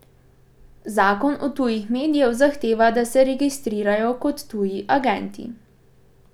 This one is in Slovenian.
Zakon od tujih medijev zahteva, da se registrirajo kot tuji agenti.